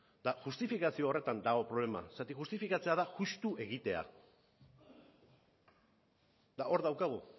eta justifikazio horretan dago problema zergatik justifikatzea da justu egitea eta hor daukagu